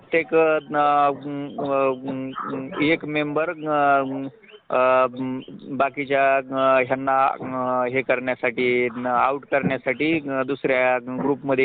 तेव्हा एखाद्या व्यवसायाच्या मग एखाद्या ठिकाणी काम करण्याची संधी पाहत असतो म्हणजे जिथून आपल्याला पैशांची उपलब्धता होईन